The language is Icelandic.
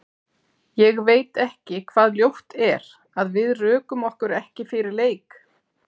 Ég veit ekki hvað ljótt er, að við rökum okkur ekki fyrir leik?